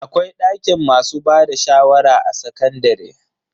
Akwai dakin masu bada shawara a sakandare.